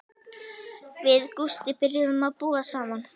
Við Gústi byrjuðum að búa saman.